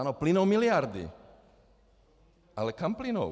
Ano plynou miliardy, ale kam plynou?